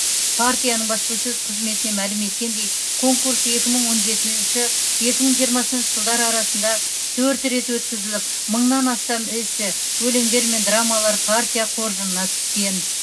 партияның баспасөз қызметіне мәлім еткендей конкурс екі мың он жетінші екі мың жиырмасыншы жылдары арасында төрт рет өткізіліп мыңнан астам эссе өлеңдер мен драмалар партия қоржынына түскен